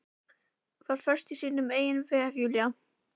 Var föst í sínum eigin vef, Júlía.